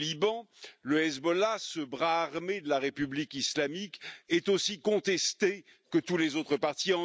Au Liban, le Hezbollah, ce bras armé de la République islamique, est aussi contesté que tous les autres partis.